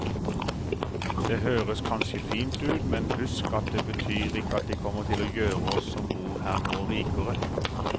Det høres kanskje fint ut, men husk at det betyr ikke at de kommer til å gjøre oss som bor her nå rikere.